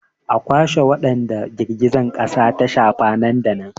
A kwashe wadanda girgizar kasa ta shafa nan da nan!